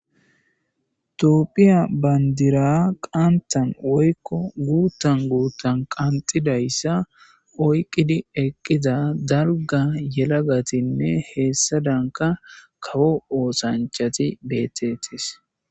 toopphiya bandira qantan woykko guuttan guuttan qanxidayssa oyqqidi eqqiza darga yelagatinne heessa danka kawo oosanchati bettetis